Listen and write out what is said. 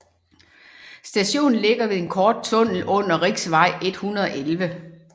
Stationen ligger ved en kort tunnel under Riksvei 111